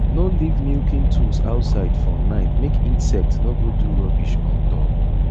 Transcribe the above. no leave milking tools outside for night make insect no go do rubbish on top